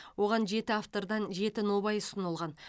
оған жеті автордан жеті нобай ұсынылған